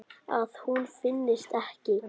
Að hún finnist ekki.